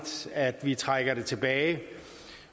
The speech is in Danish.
at vi trækker det tilbage